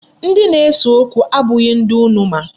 Ndi na-ese okwu abụghị ndị unu ma.